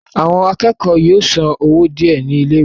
àwọn akẹ́kọ̀ọ́ yóò san owó díẹ̀ ní ilé ìwé